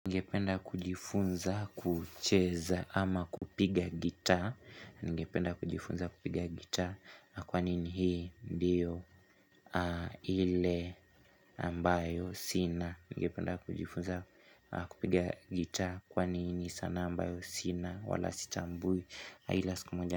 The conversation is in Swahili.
Ningependa kujifunza kucheza ama kupiga gita Ningependa kujifunza kupiga gita Kwani ni hii ndiyo ile ambayo sina Ningependa kujifunza kupiga gita Kwani hii ni sanaa ambayo sina wala sitambui ila siku moja.